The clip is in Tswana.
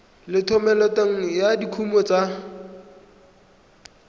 le thomeloteng ya dikuno tsa